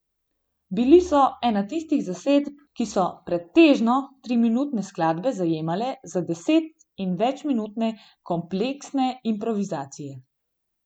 Bili so ena tistih zasedb, ki so pretežno triminutne skladbe zamenjale za deset in večminutne kompleksne improvizacije.